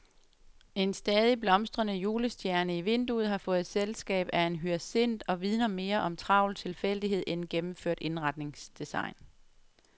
En stadig blomstrende julestjerne i vinduet har fået selskab af en hyacint og vidner mere om travl tilfældighed end gennemført indretningsdesign.